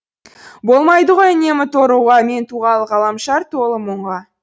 болмайды ғой үнемі торығуға мен туғалы ғаламшар толы мұңға